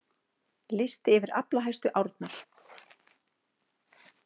Listi yfir aflahæstu árnar